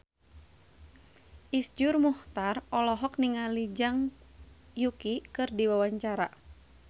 Iszur Muchtar olohok ningali Zhang Yuqi keur diwawancara